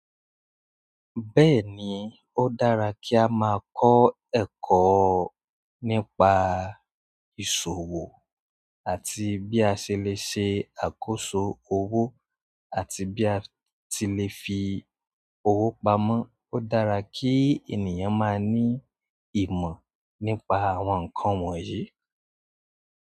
Bẹ́ẹ̀ni, ó dára kí a máa kọ́ ẹ̀kọ́ nípa ìṣòwò àti bí a ṣe lè ṣe àkóso owó àti bí a ti lè fi owó pamọ́. Ó dára kí ènìyàn máa ní ìmọ̀ nípa àwọn nǹkan wọ̀nyí.